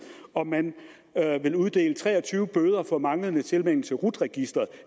og man vil uddele tre og tyve bøder for manglende tilmelding til rut registeret